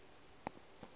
o be o ka se